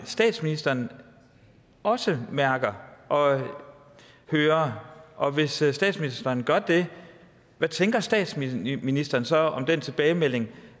statsministeren også mærker og hører og hvis statsministeren gør det hvad tænker statsministeren så om den tilbagemelding